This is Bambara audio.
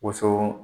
Woson